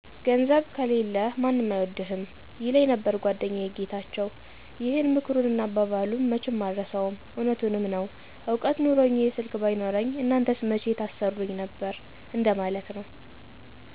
''ገንዘብ ከሌለህ ማንም አይወድህም''ይለኘመ ነበር ጎደኛየ ጌታቸው ይህን ምክሩንና አባባሉን መቸም አረሳውም እውነቱንምዐነው እውቀት ኑኖኚ ይህ ስልክ ባይኖረኚ እናንተስ መቸ ታሰሩኚ ነበር እንደ ማለት ነው።